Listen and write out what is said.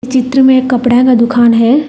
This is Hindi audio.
चित्र में कपड़े का दुकान है।